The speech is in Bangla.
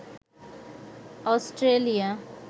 অস্ট্রেলিয়া